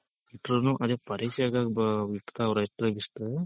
ಇಟ್ರುನು ಅದೇ ಪರೀಕ್ಷೆಗೆ ಆಗ್ ಇಡ್ತಾವ್ರ್ ಅಷ್ಟೇ ಬಿಟ್ರೆ